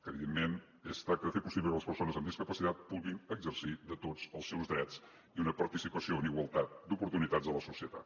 evidentment es tracta de fer possible que les persones amb discapacitat puguin exercir de tots els seus drets i una participació en igualtat d’oportunitats a la societat